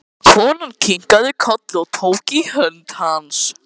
Konan kinkaði kolli og tók í hönd hans.